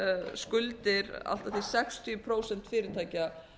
skuldir allt að því sextíu prósent fyrirtækja